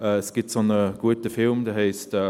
Es gibt einen guten Film darüber.